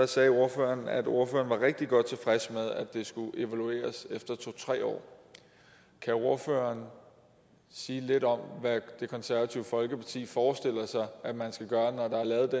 sagde ordføreren at ordføreren var rigtig godt tilfreds med at det skulle evalueres efter to tre år kan ordføreren sige lidt om hvad det konservative folkeparti forestiller sig man skal gøre